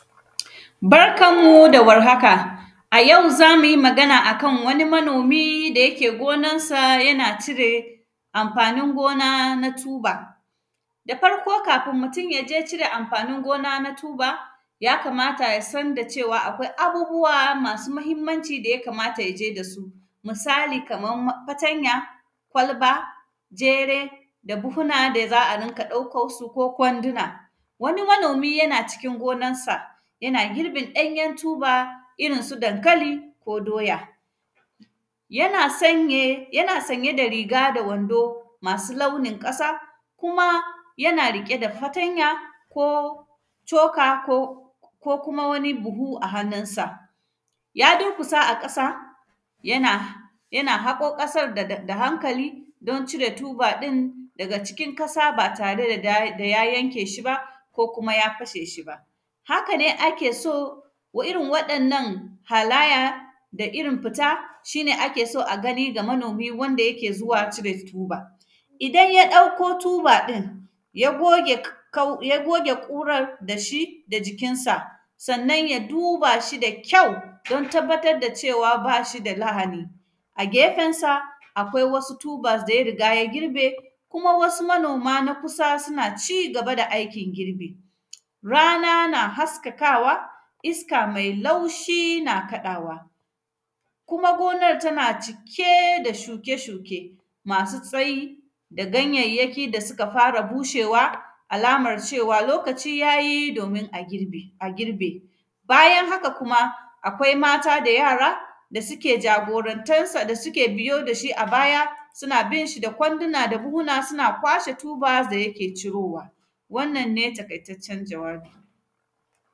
Barkan mu da warhaka, a yau za mu yi magana a kan wani manomi da yake gonansa yana cire amfanin gona na “tuber”. Da farko, kafin mutun ya je cire amfanin gona na “tuber”, ya kamata ya san da cewa, akwai abubuwa masu mahimmanci da ya kamata ya je da su. Misali kaman ma; fatanya, kwalba, jere da buhuna da za a rinka ɗauko su ko kwandina. Wani manomi yana cikin gonansa, yana girbin ɗanyen “tuber” irin su dankali ko doya. Yana sanye, yana sanye da riga da wando masu launin ƙasa, kuma yana riƙe da fatanya ko coka ko kuma wani buhu a hanunsa. Ya durkusa a kasa, yana, yana haƙo ƙasar daga; da hankali don cire tuba ɗin daga cikin kasa, ba tare da da; da ya yanke shi ba, ko kuma ya fashe shi ba. Haka ne ake so, irin waɗannan halaya, da irin fita, shi ne ake so a gani ga manomi wanda yake zuwa cire tuba. Idan ya ɗakko tuba ɗin, ya goge k; kau; ya goge ƙurar da shi, da jikinsa. Sannan, ya duba shi da kyau, don tabbatad da cewa ba shi da lahani. A gefensa, akwai wasu “tubers” da ya riga ya girbe, kuma wasu manoma na kusa suna ci gaba da aikin girbi. Rana na haskakawa, iska mai laushi na kaɗawa kuma gonar tana cike da shuke-shuke masu tsayi da ganyayyaki da sika fara bushewa, alamar cewa lokaci ya yi domin a girbe, a girbe. Bayan haka kuma, akwai mata da yara, da sike jagorantarsa, da sike biyo da shi a baya, sina bin shi da kwandina da buhuna, sina kwashe “tubers” da yake cirowa. Wannan ne taƙaitaccen jawabi.